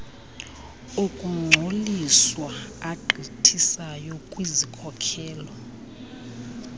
okungcoliswa agqithisayo kwizikhokelo